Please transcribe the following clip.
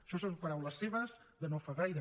això són paraules seves de no fa gaire